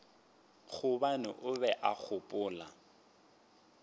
gobane o be a gopola